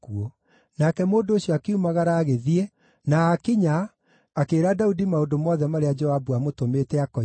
Nake mũndũ ũcio akiumagara agĩthiĩ, na aakinya, akĩĩra Daudi maũndũ mothe marĩa Joabu aamũtũmĩte akoige.